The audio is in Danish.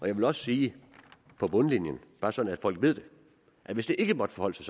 jeg vil også sige bare så folk ved det at hvis det ikke måtte forholde sig